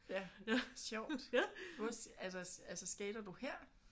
Sjovt! Hvor altså altså skater du her?